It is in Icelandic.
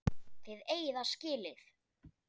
Þið eigið það skilið.